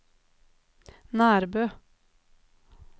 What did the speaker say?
Nærbø